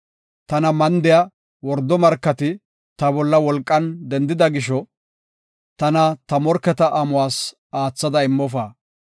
Tana mandiya wordo markati ta bolla wolqan dendida gisho, tana ta morketa amuwas aathada immofa.